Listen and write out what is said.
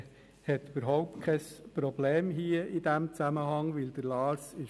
Ich bitte Sie, bei Ihren Kuverts zu bleiben, sonst sammeln wir sie nicht ein.